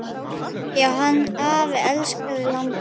Já, hann afi elskaði landið.